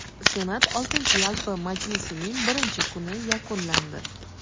Senat oltinchi yalpi majlisining birinchi kuni yakunlandi.